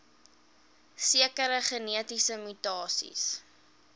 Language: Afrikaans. sekere genetiese mutasies